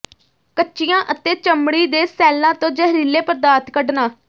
ਕੱਚੀਆਂ ਅਤੇ ਚਮੜੀ ਦੇ ਸੈੱਲਾਂ ਤੋਂ ਜ਼ਹਿਰੀਲੇ ਪਦਾਰਥ ਕੱਢਣਾ